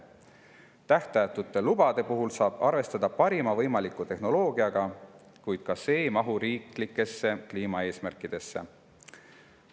Tähtajatute lubade puhul saab arvestada parima võimaliku tehnoloogiaga, kuid ka see ei mahu riiklikesse kliimaeesmärkidesse.